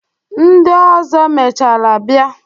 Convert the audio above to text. Ndị ọzọ mechaara bịa.